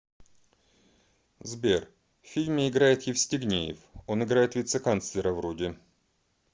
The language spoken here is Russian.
сбер в фильме играет евстигнеев он играет вице канцлера вроде